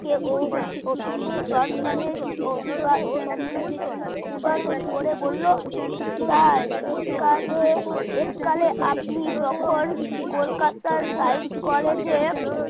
কে ও সম্মানে অভিগা সম্মানের সঙ্গে অভিবাদন করে বলল sir এক কালে এক কালে আপনি যখন কলকাতা science college